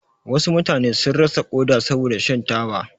Wasu mutane sun rasa koda saboda shan taba.